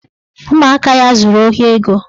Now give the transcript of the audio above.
Ụmụaka ya zuru ohi ego